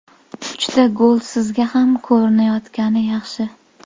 Uchta gol sizga kam ko‘rinayotgani yaxshi.